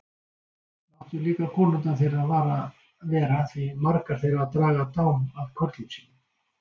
Láttu líka konurnar þeirra vera því margar þeirra draga dám af körlum sínum.